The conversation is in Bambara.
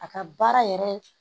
A ka baara yɛrɛ